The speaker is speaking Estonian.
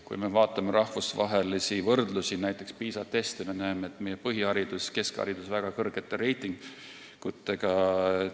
Kui me vaatame rahvusvahelisi võrdlusi, näiteks PISA teste, siis me näeme, et meie põhiharidusel ja keskharidusel on väga kõrge reiting.